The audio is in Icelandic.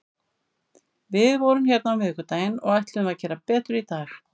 Við vorum hérna á miðvikudaginn og ætluðum að gera betur í dag.